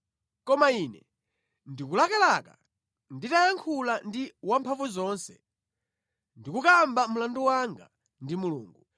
Koma ine ndikulakalaka nditayankhula ndi Wamphamvuzonse ndi kukamba mlandu wanga ndi Mulungu.